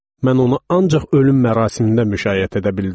Mən onu ancaq ölüm mərasimində müşayiət edə bildim.